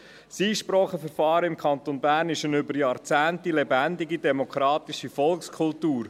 Das Einspracheverfahren im Kanton Bern ist eine über Jahrzehnte lebendige, demokratische Volkskultur.